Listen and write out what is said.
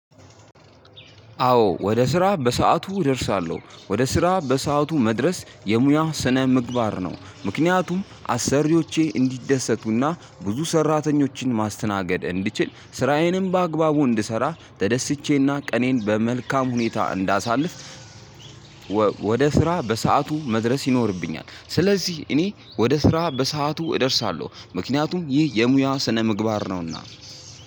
አዎ ወደ ስራ በሰአቱ እደርሳለሁ ወደ ስራ በሰአቱ መድረስ የሙያ ስነ ምግባር ነው ምክንያቱም አሰሪዎቼ እንዲደሰቱና ብዙ ሰራተኞችን ማስተናገድ እንድችል ስራዬንም በአግባቡ እንድሰራ ተደስቼና ቀኔን በመልካም ሁኔታ እንዳሳልፍ። ወደ ስራ በሰአቱ መድረስ ይኖርብኛል። ስለዚህ እኔ ወደ ስራ በሰአቱ እደርሳለሁ ምክንያቱም ይህ የሙያ ስነምግባር ነው። እና